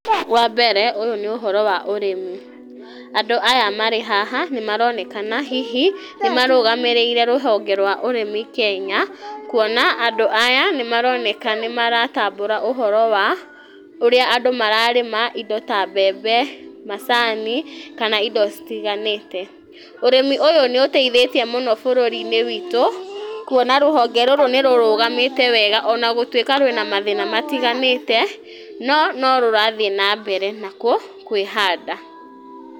Wa mbere ũyũ nĩ ũhoro wa ũrĩmi, andũ aya marĩ haha nĩ maronekana hihi nĩ marũgamĩrĩire rũhonge rwa ũrĩmi Kenya, kuona andũ aya nĩ maroneka nĩ maratambura ũhoro wa ũrĩa andũ mararĩma indo ta mbembe , macani kana indo citiganĩte , ũrĩmi ũyũ nĩ ũteithĩtie mũno bũrũri witũ kuona rũhonge rũrũ nĩ rũrũgamĩte wega , ona gũtwĩka rwĩna mathĩna matiganĩte no no rũrathiĩ na mbere na ku kwĩhanda.